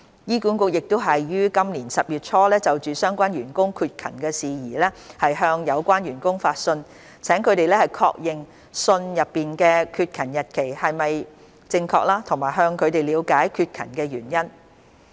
醫管局已於今年10月初就相關員工缺勤的事宜向有關員工發信，請他們確認信內的缺勤日期是否正確及向他們了解缺勤的原因。